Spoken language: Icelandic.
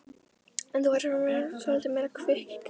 En þú verður að vera svolítið meira kvikk, gæskan.